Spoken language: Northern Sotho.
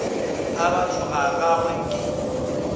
a batho ga gagwe ke